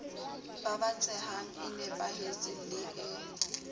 babatsehang e nepahetseng le e